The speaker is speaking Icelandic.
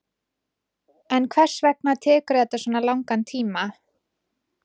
En hvers vegna tekur þetta svona langan tíma?